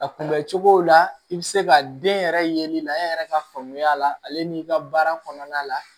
A kunbɛ cogo la i bɛ se ka den yɛrɛ ye la e yɛrɛ ka faamuya la ale n'i ka baara kɔnɔna la